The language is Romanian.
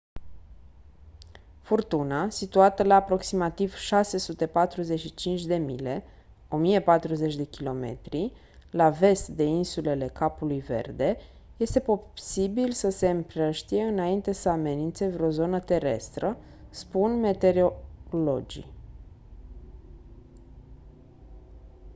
furtuna situată la aproximativ 645 de mile 1040 km la vest de insulele capului verde este posibil să se împrăștie înainte să amenințe vreo zonă terestră spun meteorologii